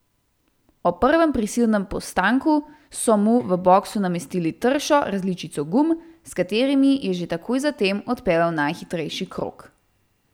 Ob prvem prisilnem postanku so mu v boksu namestili tršo različico gum, s katerimi je že takoj zatem odpeljal najhitrejši krog.